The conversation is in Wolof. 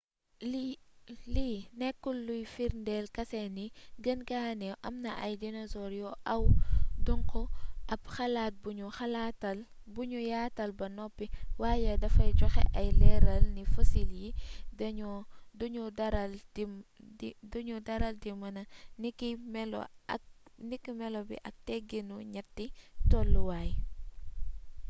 lii nekkul luy firndeel kase ni gën gaa neew am na ay dinosoor yu aw duŋqu ab xalaat buñu yaatal ba noppi waaye dafay joxe ay leeral ni fosil yi dunuy daral di mëna niki melo bi ak teggiinu ñetti tolluwaay